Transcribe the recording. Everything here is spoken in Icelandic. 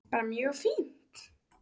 Bara mjög fínt.